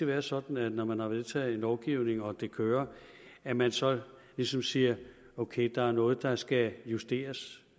være sådan når man har vedtaget en lovgivning og det kører at man så ligesom siger ok der er noget der skal justeres